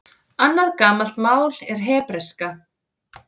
Annað gamalt mál er hebreska.